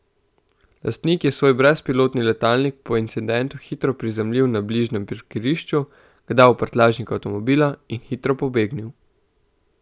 Lastnik je svoj brezpilotni letalnik po incidentu hitro prizemljil na bližnjem parkirišču, ga dal v prtljažnik avtomobila in hitro pobegnil.